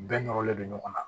Bɛɛ nɔrɔlen don ɲɔgɔn na